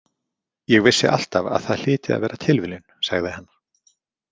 Ég vissi alltaf að það hlyti að vera tilviljun, sagði hann.